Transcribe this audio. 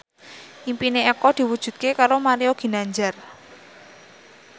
impine Eko diwujudke karo Mario Ginanjar